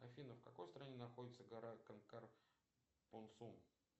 афина в какой стране находится гора конкар пунсун